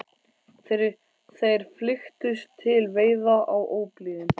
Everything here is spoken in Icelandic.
Þeir flykktust til veiða á óblíðum